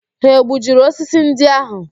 Ha egbujiri osisi ndị ahụ?